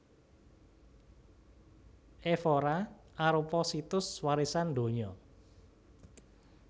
Évora arupa Situs Warisan Donya